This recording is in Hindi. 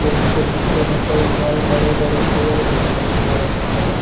फिर उसके पीछे में कई सारे बड़े-बड़े पेड़ दिखाई दे रहे हैं ।